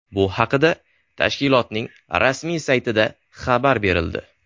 Bu haqda tashkilotning rasmiy saytida xabar berildi .